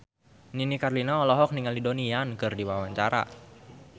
Nini Carlina olohok ningali Donnie Yan keur diwawancara